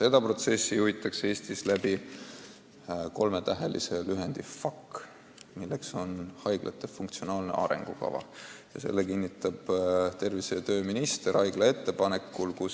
Seda protsessi juhitakse Eestis, lähtudes FAK-ist ehk haiglate funktsionaalsest arengukavast, mille kinnitab tervise- ja tööminister haigla ettepanekul.